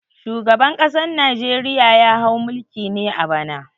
Shugaban ƙasan Najeriya ya hau mulki ne a bana.